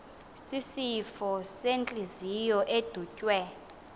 sisifo sentliziyo edutywe